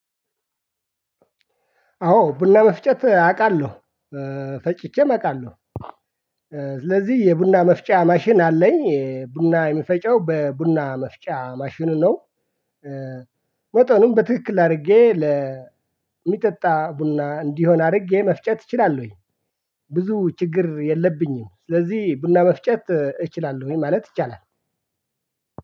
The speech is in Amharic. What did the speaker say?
አዎ ቡና መፍጨት አውቃለሁ ፈጭቼም አውቃለሁ። ስለዚህ የቡና መፍጫ ማሽን አለኝ ቡና የሚፈጨው በቡና መፍጫ ማሽኑ ነው። መጠኑን በትክክል አድርጌ ለሚጠጣ ቡና እንዲሆን አድርጌ መፍጨት እችላለሁኝ። ብዙ ችግር የለብኝም ስለዚህ ቡና መፍጨት እችላለሁኝ ማለት ይቻላል